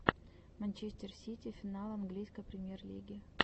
манчестер сити финал английской премьер лиги